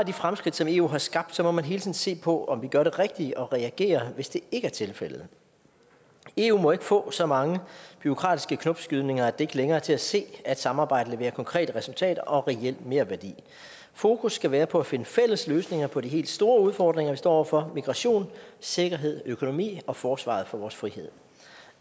de fremskridt som eu har skabt må man hele tiden se på om vi gør det rigtige og reagere hvis det ikke er tilfældet eu må ikke få så mange bureaukratiske knopskydninger at det ikke længere er til at se at samarbejdet leverer konkrete resultater og reel merværdi fokus skal være på at finde fælles løsninger på de helt store udfordringer vi står over for migration sikkerhed økonomi og forsvaret for vores frihed